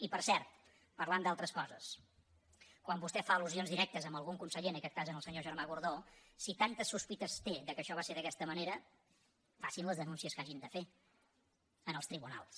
i per cert parlant d’altres coses quan vostè fa allusions directes a algun conseller en aquest cas al senyor germà gordó si tantes sospites té que això va ser d’aquesta manera facin les denúncies que hagin de fer en els tribunals